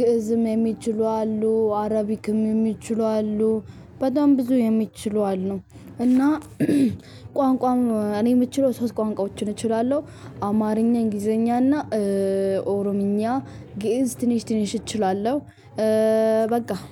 ግእዝም የሚችሉ አሉ አረቢክም የሚችሉ አሉ። በጣም ብዙ የሚችሉ አሉ። እና ቋንቋም እኔ የምችለው ሶስት ቋንቋዎችን እችላለው። አማርኛ እንግሊዘኛ እና ኦሮምኛ ገዝ ትንሽ ትንሽ እችላለው። በቃ